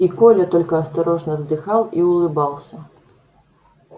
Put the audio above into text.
и коля только осторожно вздыхал и улыбался